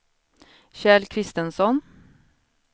Kjell Christensson